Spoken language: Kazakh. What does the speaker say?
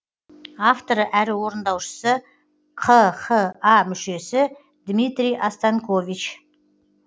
авторы әрі орындаушысы қха мүшесі дмитрий останькович